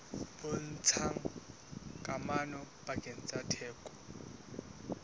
bontshang kamano pakeng tsa theko